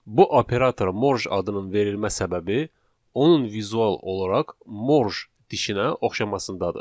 Bu operatora morj adının verilmə səbəbi onun vizual olaraq morj dişinə oxşamasındadır.